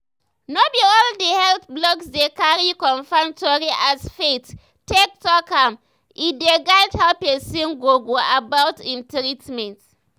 no be all the health blogs dey cari confirm tori as faith take talk am e dey guide how pesin go go about im treatment.